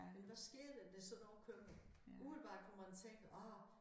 Men hvad sker der når sådan nogle kommer umiddelbart kunne man tænke ah